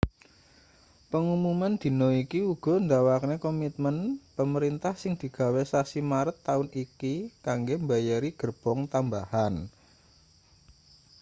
pengumuman dina iki uga ndawakne komitmen pemerintah sing digawe sasi maret taun iki kanggo mbayari gerbong tambahan